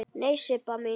Nei, Sibba mín.